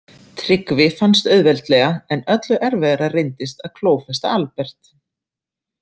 Tryggvi fannst auðveldlega en öllu erfiðara reyndist að klófesta Albert.